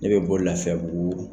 Ne bɛ bɔ lafiyabugu.